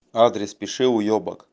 адрес пиши уёбок